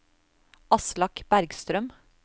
Aslak Bergstrøm